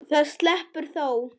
Það sleppur þó.